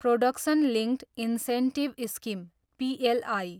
production linked incentive scheme, PLI